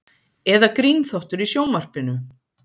Eða grínþáttur í sjónvarpinu?